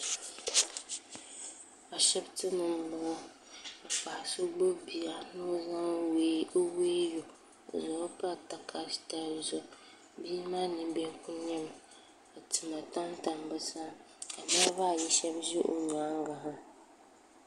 ashɛbitɛni n bɔŋɔ ka so gbabi bia ni o wɛiyu o zaŋɔ pa takari zuɣ bia maa nɛbihi kuli nɛmi ka tɛma tamtam be sani ka niribaayi shɛbi ʒɛ o nyɛŋa ha